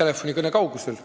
telefonikõne kaugusel.